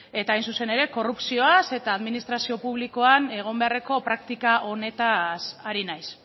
eta hain zuzen ere korrupzioaz eta administrazio publikoan egon beharreko praktika onetaz ari naiz